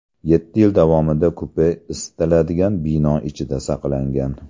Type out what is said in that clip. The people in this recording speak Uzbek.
Yetti yil davomida kupe isitiladigan bino ichida saqlangan.